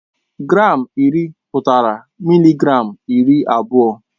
Gram iri pụtara mịlịgram iri abụọ.